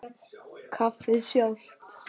Kaffið sjálft.